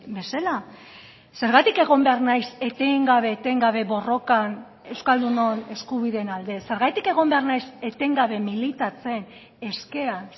bezala zergatik egon behar naiz etengabe etengabe borrokan euskaldunon eskubideen alde zergatik egon behar naiz etengabe militatzen eskean